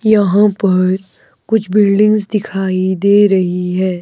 यहां पर कुछ बिल्डिंग्स दिखाई दे रही है।